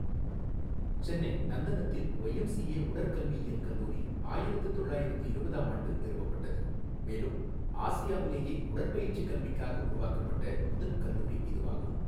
சென்னை நந்தனத்தில் ஒய்எம்சிஏ உடற்கல்வியியல் கல்லூரி ஆயிரத்து தொள்ளாயிரத்து இருபதாம் ஆண்டு நிறுவப்பட்டது மேலும் ஆசியாவிலேயே உடற்பயிற்சி கல்விக்காக உருவாக்கப்பட்ட முதல் கல்லூரி இதுவாகும்.